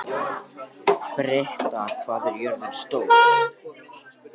Britta, hvað er jörðin stór?